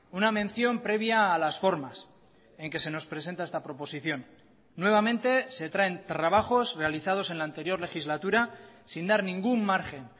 una mención previa a las formas en que se nos presenta esta proposición nuevamente se traen trabajos realizados en la anterior legislatura sin dar ningún margen